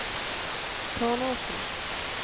Tårnåsen